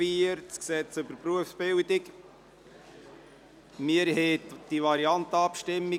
Mit 11 zu 6 Stimmen hatte die FiKo zugestimmt.